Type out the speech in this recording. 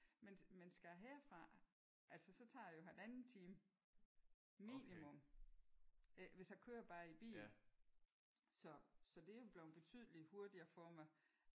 Men men skal jeg herfra altså så tager det jo halvanden time minimum. Hvis jeg kører bare i bil. Så så det er blevet betydeligt hurtigere for mig